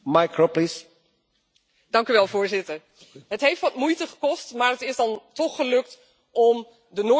Het heeft wat moeite gekost, maar het is dan toch gelukt om de Noorse walvisjacht hier in het Europees Parlement te bespreken.